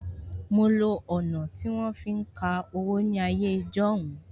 Mo lo ọ̀nà tí wọ́n fi ń ka owó ní ayé ijọ́hun